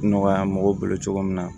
Nɔgɔya mɔgɔw bolo cogo min na